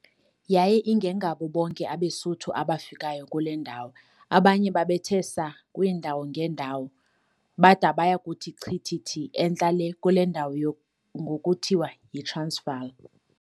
Yaye ingengabo bonke abeSuthu abafikayo kule ndawo, abanye babethe saa kwiindawo ngeendawo, bada baya kuthi chithithi entla lee kule ndawo ngoku kuthiwa yiTransvaal.